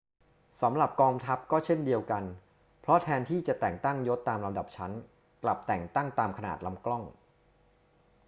สำหรับกองทัพก็เช่นเดียวกัน เพราะแทนที่จะแต่งตั้งยศตามลำดับชั้น กลับแต่งตั้งตามขนาดลำกล้อง